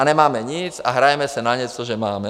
A nemáme nic a hrajeme si na něco, že máme.